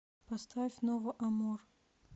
поставь ново амор